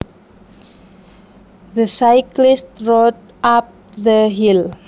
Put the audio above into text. The cyclist rode up the hill